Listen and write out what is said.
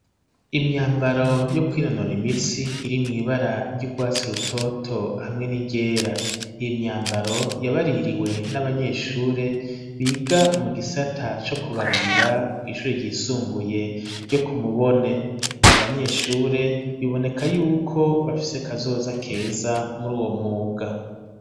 imyambaro yo kwinonura imitsi iri mw,ibara ry'urwatsi rutoto hamwe n'iryera, iyi myambaro yabaririwe n'abanyeshuri biga mu gisata co kubarira kw,ishuri ry'isumbuye ryo kumubone, abo banyeshuri biboneka yuko bafise kazoza keza muri uwo mwuga.